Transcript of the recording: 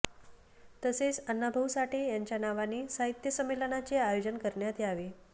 तसेच अण्णाभाऊ साठे यांच्या नावाने साहित्य संमेलनाचे आयोजन करण्यात यावे